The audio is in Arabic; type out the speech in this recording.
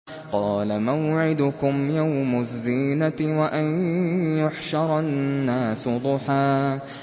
قَالَ مَوْعِدُكُمْ يَوْمُ الزِّينَةِ وَأَن يُحْشَرَ النَّاسُ ضُحًى